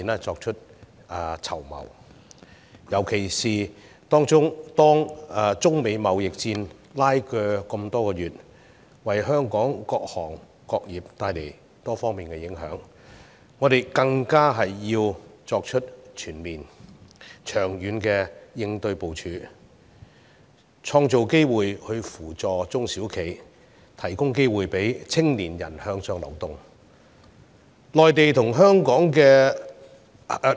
特別是中美貿易拉鋸多月，為香港各行各業帶來多方面的影響，我們更加要作出全面及長遠的應對部署，創造機遇扶助中小型企業，並提供機會讓青年人向上流動。